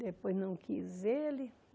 Depois não quis ele.